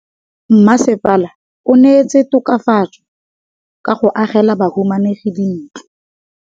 Mmasepala o neetse tokafatsô ka go agela bahumanegi dintlo.